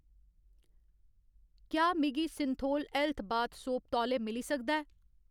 क्या मिगी Cinthol health bath soap तौले मिली सकदा ऐ ?